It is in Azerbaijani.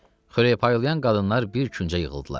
Xörək paylayan qadınlar bir küncə yığıldılar.